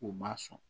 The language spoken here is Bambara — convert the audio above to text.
U ma sɔn